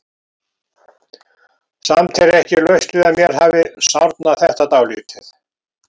Samt er ekki laust við að mér hafi sárnað þetta dálítið.